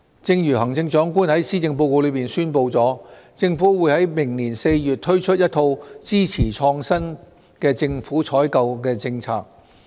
正如行政長官在施政報告中宣布，政府會於明年4月推出一套支持創新的政府採購政策。